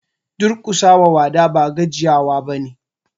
Duƙusa wa wada ba gajiya wa ba ne.